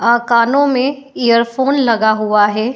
आ कानो में earphone लगा हुआ है।